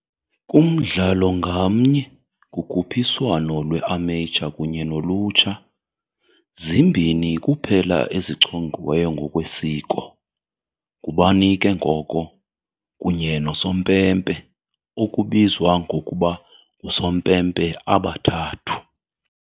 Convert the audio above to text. Kumdlalo ngamnye, kukhuphiswano lwe-amateur kunye nolutsha, zimbini kuphela ezichongiweyo ngokwesiko, ngubani ke ngoko, kunye nosompempe, okubizwa ngokuba "ngusompempe abathathu" .